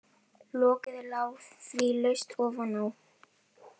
Lokið lá því laust ofan á.